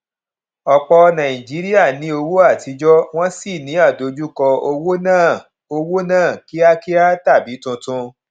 ọpọ nàìjíríà ní owó atijọ wọn sì ní àdojúko owó náà owó náà kíákíá tàbí tuntun